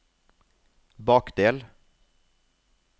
bakdel